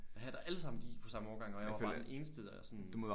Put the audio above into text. Og her der alle sammen de gik på samme årgang og jeg var bare den eneste der sådan